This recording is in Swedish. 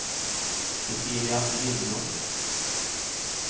Cecilia Lindblom